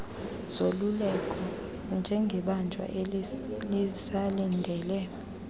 zoluleko njengebanjwa elisalindele